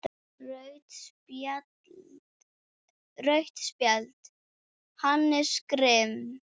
Rautt spjald: Hannes Grimm.